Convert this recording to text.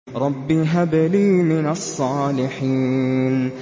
رَبِّ هَبْ لِي مِنَ الصَّالِحِينَ